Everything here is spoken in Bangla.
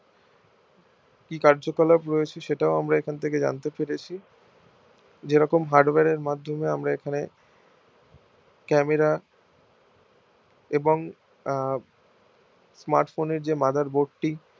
কি কার্যকলাপ রয়েছে সেটাও আমরা এখন থেকে জানতে পেরেছি যেরকম hardware এর মাধ্যমে আমরা এখানে camera এবং আহ smartphone এর যে motherboard টি